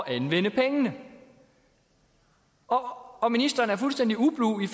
anvende pengene og ministeren er fuldstændig ublu ved